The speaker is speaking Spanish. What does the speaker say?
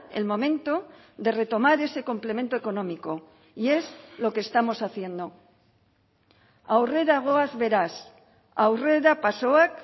el momento de retomar ese complemento económico y es lo que estamos haciendo aurrera goaz beraz aurrera pasoak